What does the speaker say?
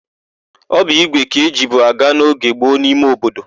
Ọ bụ ígwè ka ejibu aga n'oge gboo n'ime obodo.